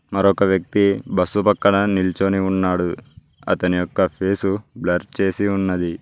మరొక వ్యక్తి బస్సు పక్కన నిలుచొని ఉన్నాడు అతని యొక్క ఫేసు బ్లర్ చేసి ఉన్నది.